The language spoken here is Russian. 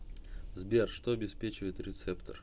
сбер что обеспечивает рецептор